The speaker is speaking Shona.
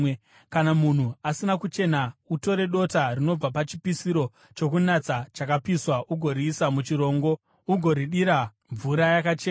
“Kana munhu asina kuchena, utore dota rinobva pachipiriso chokunatsa chakapiswa ugoriisa muchirongo ugoridira mvura yakachena.